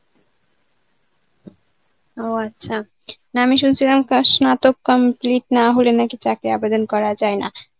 ও আচ্ছা, না আমি শুনছিলাম কা স্নাতক complete না হলে নাকি চাকরি আবেদন করা যায় না.